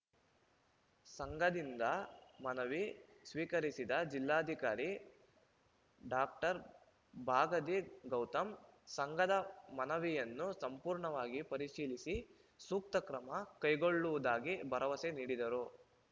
ಸಂಘದಿಂದ ಮನವಿ ಸ್ವೀಕರಿಸಿದ ಜಿಲ್ಲಾಧಿಕಾರಿ ಡಾಕ್ಟರ್ ಬಗಾದಿ ಗೌತಮ್‌ ಸಂಘದ ಮನವಿಯನ್ನು ಸಂಪೂರ್ಣವಾಗಿ ಪರಿಶೀಲಿಸಿ ಸೂಕ್ತ ಕ್ರಮ ಕೈಗೊಳ್ಳುವುದಾಗಿ ಭರವಸೆ ನೀಡಿದರು